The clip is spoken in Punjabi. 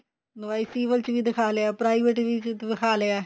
ਸਿਵਿਲ ਚ ਵੀ ਦਿਖਾ ਲਿਆ private ਚ ਵੀ ਦਿਖਾ ਲਿਆ